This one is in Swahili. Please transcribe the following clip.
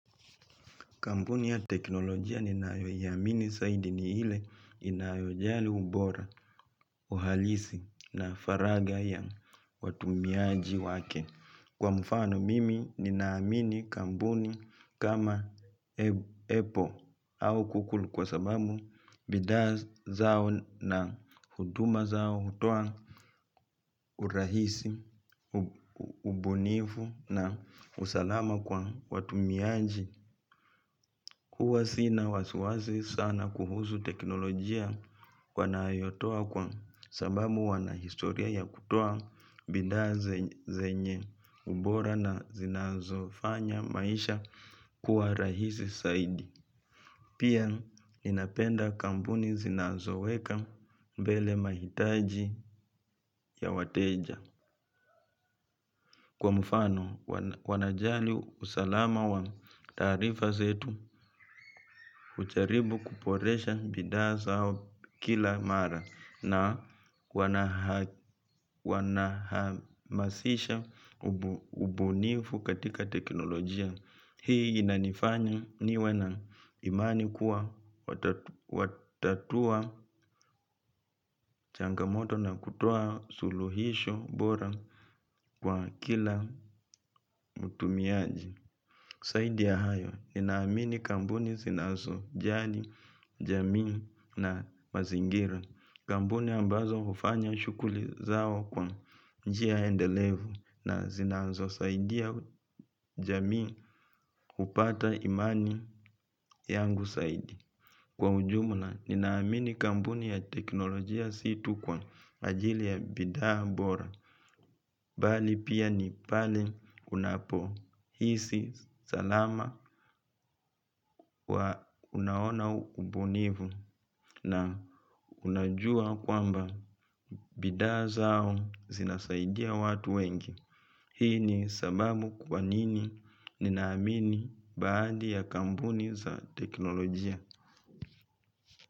Kampuni ya teknolojia ninayoiamini zaidi ni ile inayojali ubora, uhalisi na faragha ya watumiaji wake. Kwa mfano mimi nina amini kampuni kama apple au kukulu kwa sabamu bidhaa zao na huduma zao hutoa urahisi ubunifu na usalama kwa watumiaji huwa sina wasiwasi sana kuhusu teknolojia wanayotoa kwa sababu wana historia ya kutoa bidhaa zenye ubora na zinazo fanya maisha kuwa rahisi zaidi pia ninapenda kampuni zinazoweka mbele mahitaji ya wateja. Kwa mfano, wanajali usalama wa tarifa zetu, hujaribu kuboresha bidhaa zao kila mara na wanahamasisha ubunifu katika teknolojia. Hii inanifanya niwe na imani kuwa watatua changamoto na kutoa suluhisho bora kwa kila mtumiaji. Zaidi ya hayo, ninaamini kampuni zinazo jali, jamii na mazingira. Kampuni ambazo hufanya shughuli zao kwa njia endelevu na zinazo saidia jamii kupata imani yangu zaidi. Kwa ujumula, ninaamini kambuni ya teknolojia situ kwa ajili ya bidhaa bora, bali pia ni pale unapo hisi, salama, unaona ubunifu na unajua kwamba bidhaa zao zinasaidia watu wengi. Hii ni sababu kwa nini nina amini baadhi ya kampuni za teknolojia.